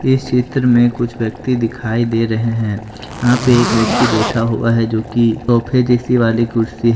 इस चित्र में कुछ व्यक्ति दिखाई दे रहे हैं यहां पे एक व्यक्ति बैठा हुआ है जो कि सोफे जैसी वाली कुर्सी--